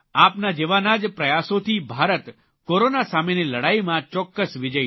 આપના જેવાના જ પ્રયાસોથી ભારત કોરોના સામેની લડાઇમાં ચોક્કસ વિજયી થશે